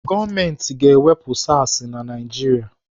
Gọọmenti ga-ewepụ SARs na Naijiria.